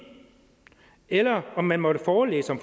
eller om man måtte forelæse om